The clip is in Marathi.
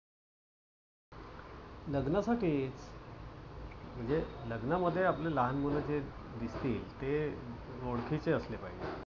लग्नासाठीच. म्हणजे लग्नामध्ये आपले लहान मुलं जे दिसतील ते ओळखीचे असले पाहिजे.